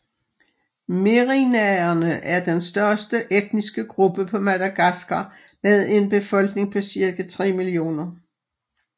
Merinaerne er den største etniske gruppe på Madagaskar med en befolkning på cirka 3 millioner